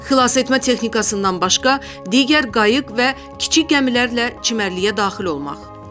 Xilasetmə texnikasından başqa digər qayıq və kiçik gəmilərlə çimərliyə daxil olmaq.